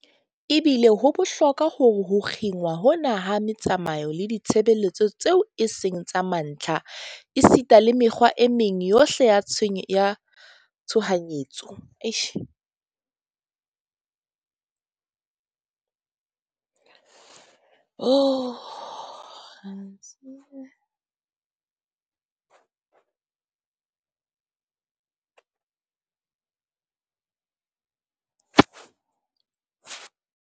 Ebile ho bohlokwa hore ho kginwa hona ha metsamao le ditshebeletso tseo e seng tsa mantlha esita le mekgwa e meng yohle ya tshohanyetso, ho ikamahanngwe le yona kahohlehohle mme e phethahatswe kamehla.